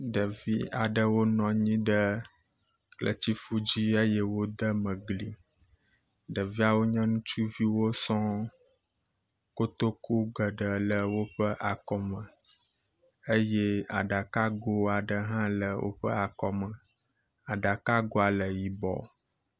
Ɖevi aɖewo nɔ nyi ɖe kletsifu dzi eye wo deme gli, ɖeviawo nye ŋutsuviwo sɔŋŋ, kotoku geɖe le woƒe akɔme eye aɖakago aɖe hã le woƒe akɔme, aɖakagoa le yibɔ.